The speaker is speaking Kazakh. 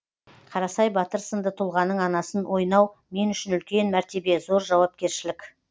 қарасай батыр сынды тұлғаның анасын ойнау мен үшін үлкен мәртебе зор жауапкершілік